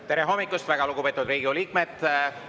Tere hommikust, väga lugupeetud Riigikogu liikmed!